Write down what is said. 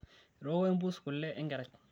etooko empuus kule enkerai